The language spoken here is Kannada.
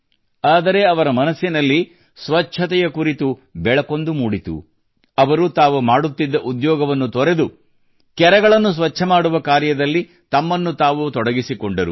ಆದರೆ ಅವರ ಮನಸ್ಸಿನಲ್ಲಿ ಸ್ವಚ್ಛತೆಯ ಕುರಿತು ಬೇರೊಂದು ಯೋಚನೆ ಮೂಡಿತು ಅವರು ತಾವು ಮಾಡುತ್ತಿದ್ದ ಉದ್ಯೋಗವನ್ನು ತೊರೆದು ಕೆರೆಗಳನ್ನು ಸ್ವಚ್ಛ ಮಾಡುವ ಕಾರ್ಯದಲ್ಲಿ ತಮ್ಮನ್ನು ತಾವು ತೊಡಗಿಸಿಕೊಂಡರು